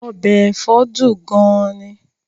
Ọbẹ̀ ẹ̀fọ́ dùn gan-an ni